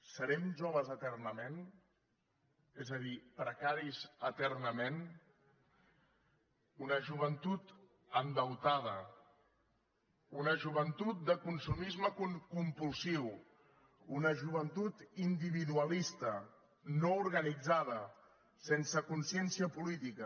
serem joves eternament és a dir precaris eternament una joventut endeutada una joventut de consumisme compulsiu una joventut individualista no organitzada sense consciència política